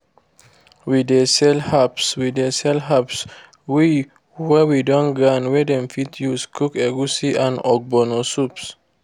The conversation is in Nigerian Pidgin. we dey sell herbs wey sell herbs wey we don grind wey dem fit use cook egusi and ogbono soups